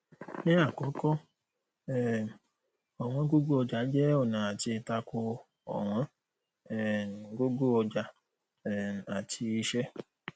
ní àkọkọ um ọwọn gogo ọjà jẹ ọnà àti tako ọwọn um gogo ọjà um àti iṣẹ